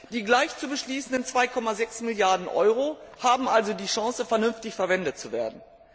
Die gleich zu beschließenden 2,6 Milliarden EUR haben also die Chance, vernünftig verwendet zu werden.